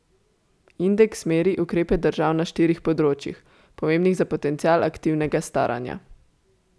Indeks meri ukrepe držav na štirih področjih, pomembnih za potencial aktivnega staranja.